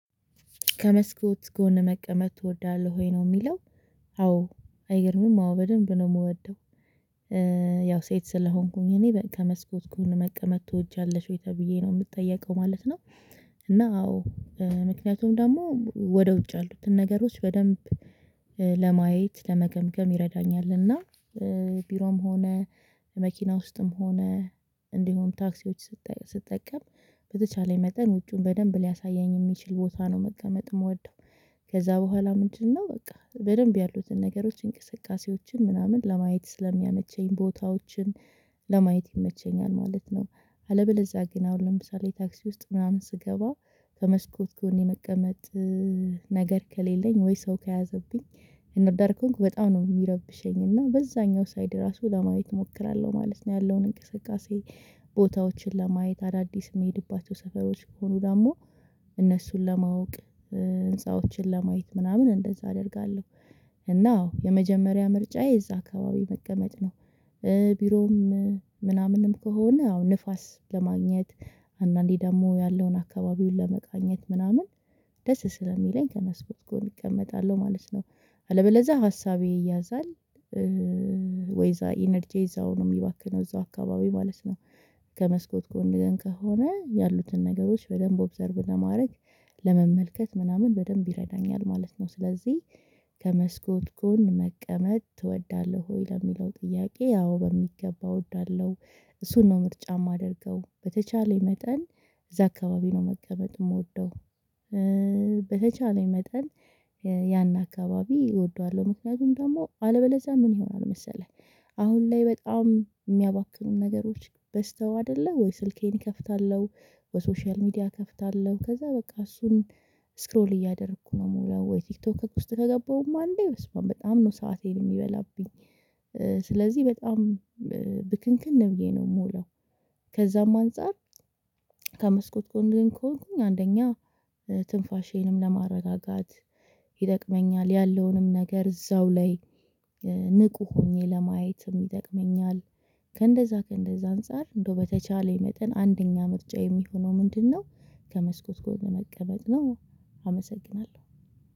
ከመስኮት ጎን መቀመጥ ትወዳለህ ወይ ነው የሚለው? አዎ አይገርምም አዎ በደንብ ነው የምወደው። ያው ሴት ስለሆንኩኝ እኔ ከመስኮት እኮ መቀመጥ ትወጃለሽ ወይ ተብዬ ነው የምትጠየቀው ማለት ነው። እና አዎ ምክንያቱም ደግሞ ወደ ውጭ ያሉትን ነገሮች በደንብ ለማየት ለመገምገም ይረዳኛል። እና ቢሮም ሆነ መኪና ውስጥም ሆነ እንዲሁም ታክሲዎች ስትጠቀም በተቻለኝ መጠን ውጪውን በደንብ ሊያሳየኝ የሚችል ቦታ ነው መቀመጥ የምወደው። ከዛ በኋላ ምንድነው በቃ በደንብ ያሉትን ነገሮች እንቅስቃሴዎችን ምናምን ለማየት ስለሚያመቸኝ ቦታዎችን ለማየት ይመቸኛል ማለት ነው። አለበለዚያ ግን አሁን ለምሳሌ ታክሲ ውስጥ ምናምን ስገባ ከመስኮት ጎን የመቀመጥ ነገር ከሌለኝ ወይ ሰው ከያዘብኝ እና ዳር ከሆንኩ በጣም ነው የሚረብሸኝ እና በዛኛው ሳይድ ራሱ ለማየት እሞክራለሁ ማለት ነው ያለውን እንቅስቃሴ ቦታዎችን ለማየት አዳዲስ የምሄድባቸው ሰፈሮች ሆኑ ደግሞ እነሱን ለማወቅ ህንፃዎችን ለማየር ምናምን እንደዛ አደርጋለሁ። እና አዎ የመጀመሪያ ምርጫዬ እዛ አካባቢ መቀመጥ ነው። ቢሮም ምናምንም ከሆነ አሁን ንፋስ ለማግኘት አንዳንዴ ደግሞ ያለውን አካባቢውን ለመቃኘት ምናምን ደስ ስለሚለኝ ከመስኮት እቀመጣለሁ ማለት ነው። አለበለዛ ሀሳቤ ይያዛል ወይዛ ኢነርጂ እዛው ነው የሚባክነው እዛው አካባቢ ማለት ነው። ከመስኮት ጎን ግን ከሆነ ያሉትን ነገሮች በደንብ ኦብዘርቭ ለማድረግ ለመመልከት ምናምን በደንብ ይረዳኛል ማለት ነው። ስለዚህ ከመስኮት ጎን መቀመጥ ትወዳለህ ወይ ለሚለው ጥያቄ ያው በሚገባ እወዳለሁ። እሱን ነው ምርጫ የማደርገው በተቻለኝ መጠን እዛ አካባቢ ነው መቀመጥ የምወደው። በተቻለኝ መጠን ያን አካባቢ እወደዋለሁ ምክንያቱም ደግሞ አለበለዛ ምን ይሆናል መሰለህ? አሁን ላይ በጣም የሚያባክኑን ነገሮች በስተው አይደለ ወይ ስልኬን እከፍታለሁ ወይ ሶሻል ሚዲያ እከፍታለሁ ከዛ በቃ እሱን ስክሮል እያደረኩ ነው የምውለው ወይ ቲክቶክ ውስጥ ከገባሁማ አለ በጣም ነው ሰአቴን የሚበላብኝ። ስለዚህ በጣም ብክንክን ብዬብነው የምውለው ከዛም አንፃር ከመስኮት ጎን ግን ከሆንኩኝ አንደኛ ትንፋሼንም ለማረጋጋት ይጠቅመኛል ያለውንም ነገር እዛው ላይ ንቁ ሆኜ ለማየትም ይጠቅመኛል። ከእንደዛ ከእንደዛ አንፃር እንደው በተቻለኝ መጠን አንደኛ ምርጫ የሚሆነው ምንድነው? ከመስኮት ጎን መቀመጥ ነው። አመሰግናለሁ